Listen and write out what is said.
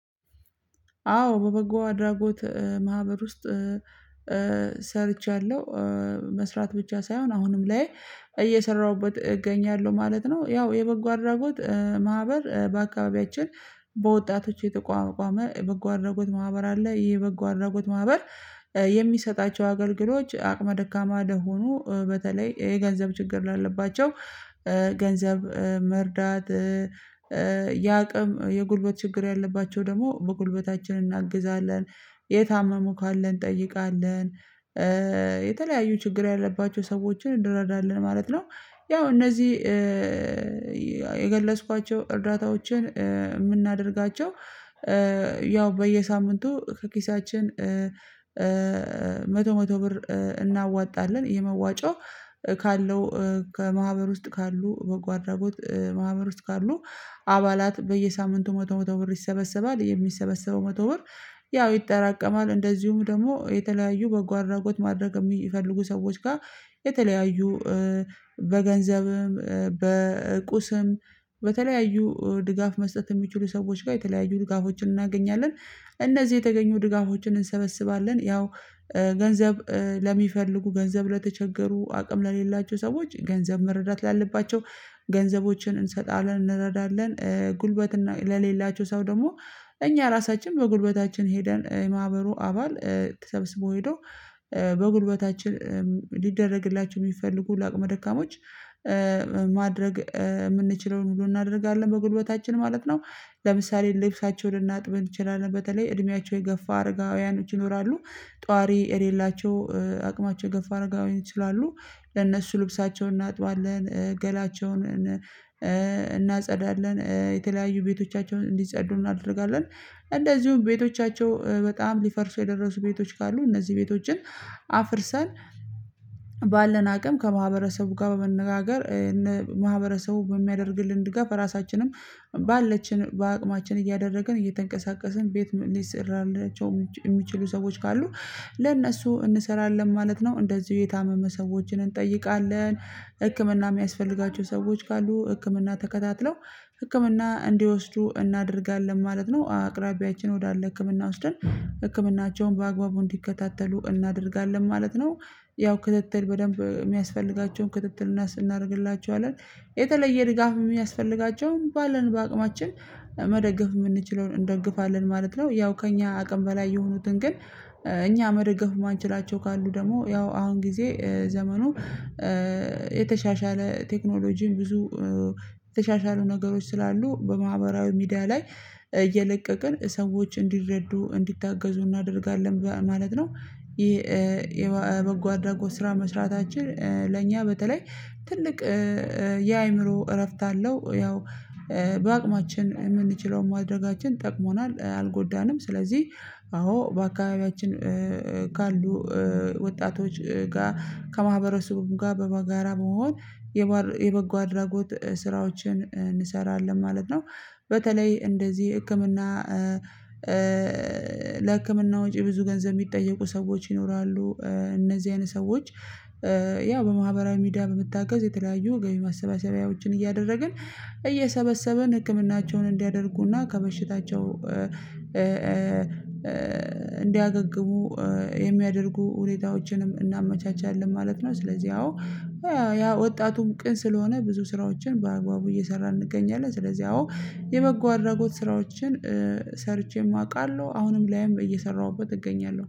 አዎ በበጎ አድራጎት ማህበር ውስጥ ሰርቻለሁ መስራት ብቻ ሳይሆን አሁንም ላይ እየሰራሁበት እገኛለሁ ማለት ነው። ያው የበጎ አድራጎት ማህበር በአካባቢያችን በወጣቶች የተቋቋመ በጎ አድርጎት ማህበር አለ የበጎ አድርጎት ማህበር የሚሰጣቸው አገልግሎች አቅመ ደካማ ለሆኑ በተለይ የገንዘብ ችግር ላለባቸው ገንዘብ መርዳት። የአቅም የጉልበት ችግር ያለባቸው ደግሞ በጉልበታችን እናግዛለን። የታመሙ ካለ እንጠይቃለን። የተለያዩ ችግር ያለባቸው ሰዎችን እንረዳለን ማለት ነው። ያው እነዚህ የገለጽኳቸው እርዳታዎችን የምናደርጋቸው ያው በየሳምንቱ ከኪሳችን መቶ መቶ ብር እናዋጣለን። ይሄ መዋጫው ካለው ከማኅበር ውስጥ ካሉ በጓደኞች ማህበር ውስጥ ካሉ አባላት በየሳምንቱ መቶ መቶ ብር ይሰበሰባል። የሚሰበሰበው መቶ ብር ያው ይጠራቀማል። እንደዚሁም ደግሞ የተለያዩ በጎ አድራጎት ማድረግ የሚፈልጉ ሰዎች ጋር የተለያዩ በገንዘብም በቁስም በተለያዩ ድጋፍ መስጠት የሚችሉ ሰዎች ጋር የተለያዩ ድጋፎችን እናገኛለን። እነዚህ የተገኙ ድጋፎችን እንሰበስባለን ያው ገንዘብ ለሚፈልጉ ገንዘብ ለተቸገሩ አቅም ለሌላቸው ሰዎች ገንዘብ መረዳት ላለባቸው ገንዘቦችን እንሰጣለን እንረዳለን። ጉልበት ለሌላቸው ሰው ደግሞ እኛ ራሳችን በጉልበታችን ሄደን የማኅበሩ አባል ተሰብስቦ ሄዶ በጉልበታችን ሊደረግላቸው የሚፈልጉ ለአቅመ ደካማዎች ማድረግ የምንችለውን ሁሉ እናደርጋለን በጉልበታችን ማለት ነው። ለምሳሌ ልብሳቸው ልናጥብ እንችላለን በተለይ እድሜያቸው የገፋ አረጋውያኖች ይኖራሉ። ጧሪ የሌላቸው አቅማቸው የገፍ አድርገው ይችላሉ ለነሱ ልብሳቸውን እናጥባለን። ገላቸውን እናጸዳለን የተለያዩ ቤቶቻቸውን እንዲጸዱ እናደርጋለን። እንደዚሁም ቤቶቻቸው በጣም ሊፈርሱ የደረሱ ቤቶች ካሉ እነዚህ ቤቶችን አፍርሰን ባለን አቅም ከማህበረሰቡ ጋር በመነጋገር ማህበረሰቡ በሚያደርግልን ድጋፍ ራሳችንም ባለችን በአቅማችን እያደረግን እየተንቀሳቀስን ቤት ሊሠራላቸው የሚችሉ ሰዎች ካሉ ለእነሱ እንሰራለን። ማለት ነው እንደዚሁ የታመመ ሰዎችን እንጠይቃለን። ህክምና የሚያስፈልጋቸው ሰዎች ካሉ ህክምና ተከታትለው ህክምና እንዲወስዱ እናደርጋለን ማለት ነው። አቅራቢያችን ወደ አለ ህክምና ወስደን ህክምናቸውን በአግባቡ እንዲከታተሉ እናደርጋለን ማለት ነው። ያው ክትትል በደንብ የሚያስፈልጋቸውን ክትትልና ስናደርግላቸዋለን የተለየ ድጋፍ የሚያስፈልጋቸውን ባለን በአቅማችን መደገፍ የምንችለውን እንደግፋለን ማለት ነው። ያው ከእኛ አቅም በላይ የሆኑትን ግን እኛ መደገፍ የማንችላቸው ካሉ ደግሞ ያው አሁን ጊዜ ዘመኑ የተሻሻለ ቴክኖሎጂን ብዙ ተሻሻሉ ነገሮች ስላሉ በማህበራዊ ሚዲያ ላይ እየለቀቅን ሰዎች እንዲረዱ እንዲታገዙ እናደርጋለን ማለት ነው። ይሄ የበጎ አድራጎት ስራ መስራታችን ለእኛ በተለይ ትልቅ የአእምሮ እረፍት አለው። ያው በአቅማችን የምንችለውን ማድረጋችን ጠቅሞናል አልጎዳንም። ስለዚህ አዎ በአካባቢያችን ካሉ ወጣቶች ጋር ከማህበረሰቡም ጋር በጋራ መሆን የበጎ አድራጎት ስራዎችን እንሰራለን ማለት ነው። በተለይ እንደዚህ ህክምና ለህክምና ወጪ ብዙ ገንዘብ የሚጠየቁ ሰዎች ይኖራሉ። እነዚህ አይነት ሰዎች ያው በማህበራዊ ሚዲያ በመታገዝ የተለያዩ ገቢ ማሰባሰቢያዎችን እያደረግን እየሰበሰበን ህክምናቸውን እንዲያደርጉና ከበሽታቸው እንዲያገግሙ የሚያደርጉ ሁኔታዎችንም እናመቻቻለን ማለት ነው። ስለዚህ አዎ ያ ወጣቱም ቅን ስለሆነ ብዙ ስራዎችን በአግባቡ እየሰራን እንገኛለን። ስለዚህ አዎ የበጎ አድራጎት ስራዎችን ሰርቼም አውቃለሁ አሁንም ላይም እየሰራሁበት እገኛለሁ